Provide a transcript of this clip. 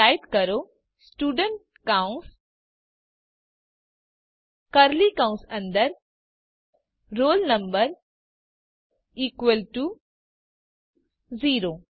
તો ટાઇપ કરો સ્ટુડન્ટ કૌસ કર્લી કૌસ અંદર roll number ઇકવલ ટુ 0